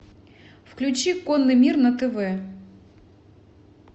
включи конный мир на тв